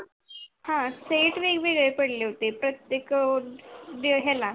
ह set वेगवेळे पडले होते प्रतेक जे है ना